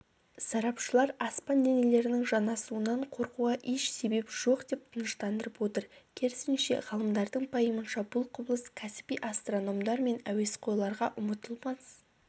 сарапшылар аспан денелерінің жанасуынан қорқуға еш себеп жоқ деп тыныштандырып отыр керісінше ғалымдардың пайымынша бұл құбылыс кәсіби астрономдар мен әуесқойларға ұмытылмас